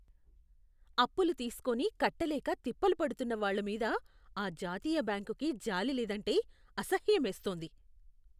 అప్పులు తీస్కోని కట్టలేక తిప్పలు పడుతున్న వాళ్ళ మీద ఆ జాతీయ బ్యాంకుకి జాలి లేదంటే అసహ్యమేస్తోంది.